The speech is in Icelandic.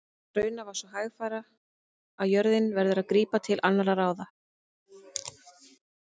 Raunar svo hægfara að jörðin verður að grípa til annarra ráða.